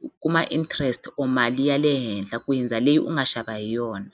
ku kuma interest or mali ya le henhla ku hindza leyi u nga xava hi yona.